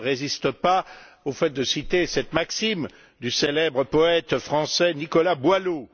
Je ne résiste pas au fait de citer cette maxime du célèbre poète français Nicolas Boileau.